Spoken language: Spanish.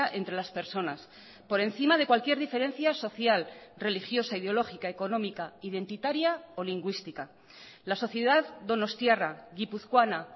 entre las personas por encima de cualquier diferencia social religiosa ideológica económica identitaria o lingüística la sociedad donostiarra guipuzcoana